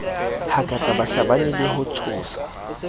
hakatsa bahlabani le ho tshosa